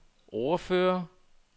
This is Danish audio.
ordfører